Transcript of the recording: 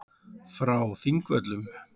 Frá Þingvöllum.